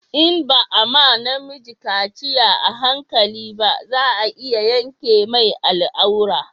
In ba a ma na miji kaciya a hankali ba za a iya yanka mai al'aura